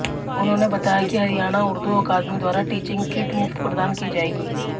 उन्होंने बताया कि हरियाणा उर्दू अकादमी द्वारा टीचिंग किट मुफ्त प्रदान की जाएगी